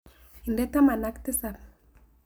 Inde taman ak tisap.